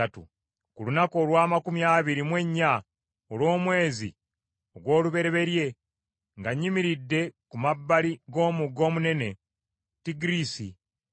Ku lunaku olw’amakumi abiri mu ennya olw’omwezi ogw’olubereberye nga nyimiridde ku mabbali g’omugga omunene Tigiriisi,